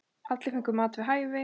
Allir fengu mat við hæfi.